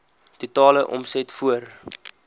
totale omset voor